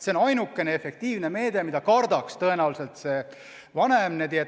See on ainukene efektiivne meede, mida tõenäoliselt see vanem kardaks.